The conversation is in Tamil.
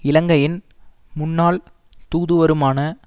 இலங்கையின் முன்னாள் தூதுவருமான